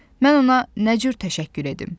Mən ona nə cür təşəkkür edim?